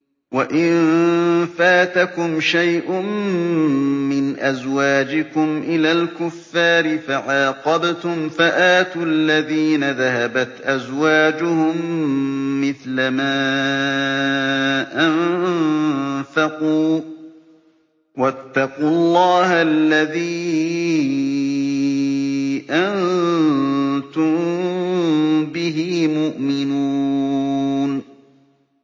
وَإِن فَاتَكُمْ شَيْءٌ مِّنْ أَزْوَاجِكُمْ إِلَى الْكُفَّارِ فَعَاقَبْتُمْ فَآتُوا الَّذِينَ ذَهَبَتْ أَزْوَاجُهُم مِّثْلَ مَا أَنفَقُوا ۚ وَاتَّقُوا اللَّهَ الَّذِي أَنتُم بِهِ مُؤْمِنُونَ